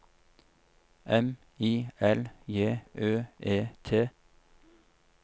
M I L J Ø E T